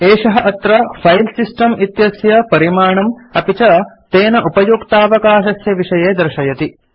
एषः अत्र फाइल्सिस्टम् इत्यस्य परिमाणम् अपि च तेन उपयुक्तावकाशस्य विषये दर्शयति